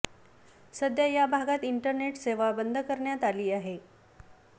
सध्या या भागात इंटरनेट सेवा बंद करण्यात आली आहे